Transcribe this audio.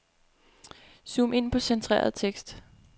Zoom ind på centreret tekst.